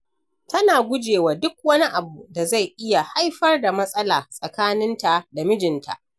Tana guje wa duk wani abu da zai iya haifar da matsala tsakaninta da mijinta.